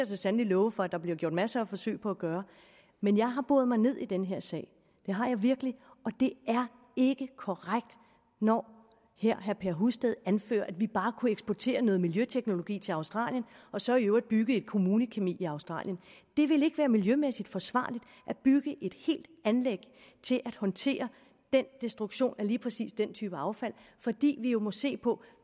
så sandelig love for at der bliver gjort en masse forsøg på at gøre men jeg har boret mig ned i den her sag det har jeg virkelig og det er ikke korrekt når her herre per husted anfører at vi bare kunne eksportere noget miljøteknologi til australien og så i øvrigt bygge et kommunekemi i australien det ville ikke være miljømæssigt forsvarligt at bygge et helt anlæg til at håndtere destruktion af lige præcis den type affald fordi vi jo må se på